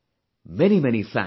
Many many thanks